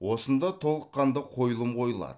осында толыққанды қойылым қойылады